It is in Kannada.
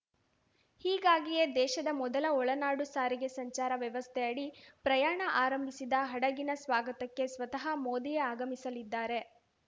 ಹೀಗಾಗಿಯೇ ದೇಶದ ಮೊದಲ ಒಳನಾಡು ಸಾರಿಗೆ ಸಂಚಾರ ವ್ಯವಸ್ಥೆಯಡಿ ಪ್ರಯಾಣ ಆರಂಭಿಸಿದ ಹಡಗಿನ ಸ್ವಾಗತಕ್ಕೆ ಸ್ವತಃ ಮೋದಿಯೇ ಆಗಮಿಸಲಿದ್ದಾರೆ